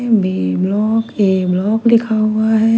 B block A block लिखा हुआ है।